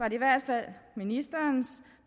i hvert fald ministerens